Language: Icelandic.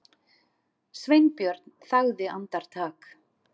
Sveinbjörn þagði andartak.